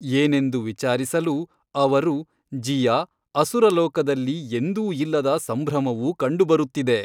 ಏನೆಂದು ವಿಚಾರಿಸಲು ಅವರು ಜೀಯಾ ಅಸುರಲೋಕದಲ್ಲಿ ಎಂದೂ ಇಲ್ಲದ ಸಂಭ್ರಮವು ಕಂಡುಬರುತ್ತಿದೆ.